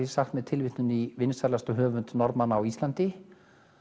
sagt með tilvitnun í vinsælasta höfund Norðmanna á Íslandi